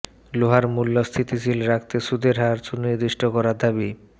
লোহার মূল্য স্থিতিশীল রাখতে সুদের হার সুনির্দিষ্ট করার দাবি